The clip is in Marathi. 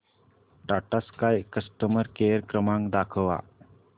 टाटा स्काय कस्टमर केअर क्रमांक दाखवा